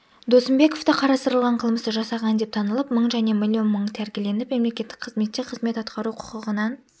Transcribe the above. досымбековты қарастырылған қылмысты жасаған деп танылып мың және млн мың тәркіленіп мемлекеттік қызметте қызмет атқару құқығынан